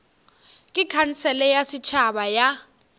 ke khansele ya setšhaba ya